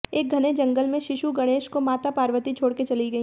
एक घने जंगल में शिशु गणेश को माता पार्वती छोड़कर चली गई